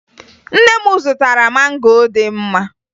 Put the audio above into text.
Nne m zụtara mango dị mma